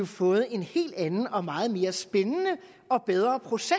fået en helt anden og meget mere spændende og bedre proces